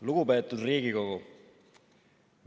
Lugupeetud Riigikogu!